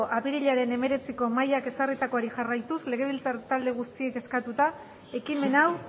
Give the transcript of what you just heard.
apirilaren hemeretziko mahaiak ezarritakoari jarraituz legebiltzar talde guztiek eskatuta ekimen hau